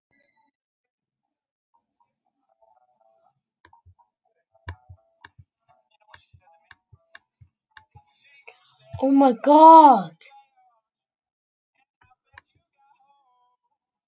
Það er ekki ólíklegt að við óskum eftir heimildinni.